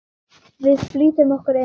Við flýtum okkur inn.